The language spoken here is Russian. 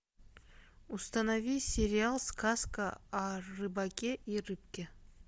установи сериал сказка о рыбаке и рыбке